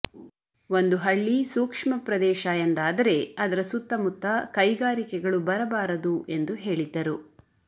ಒಂದು ಹಳ್ಳಿ ಸೂಕ್ಷ್ಮ ಪ್ರದೇಶ ಎಂದಾದರೆ ಅದರ ಸುತ್ತಮುತ್ತ ಕೈಗಾರಿಕೆಗಳು ಬರಬಾರದು ಎಂದು ಹೇಳಿದ್ದರು